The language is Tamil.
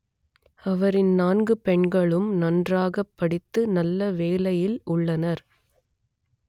அவரின் நான்கு பெண்களும் நன்றாகப் படித்து நல்ல வேலையில் உள்ளனர்